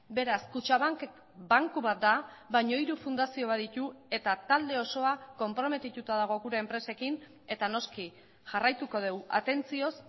beraz kutxabank banku bat da baina hiru fundazio baditu eta talde osoa konprometituta dago gure enpresekin eta noski jarraituko dugu atentzioz